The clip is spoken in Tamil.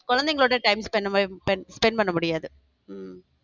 குழந்தைங்களோட time spen~ பண்ண மாதிரி spend பண்ண முடியாது உம்